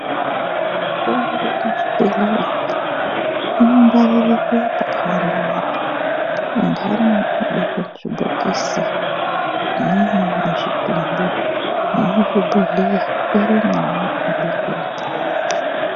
Mitombo muzvibhedhlera umwo, ino ngwaririrwe pakawanda wanda. Inthani inobekwe muzvibhokisi, imweni muzvidumbu, nemuzvi bhodhleya irimwowo ino bekwemwo.